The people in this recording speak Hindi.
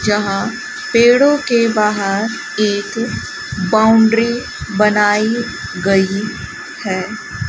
यहां पेड़ों के बाहर एक बाउंड्री बनाई गई है।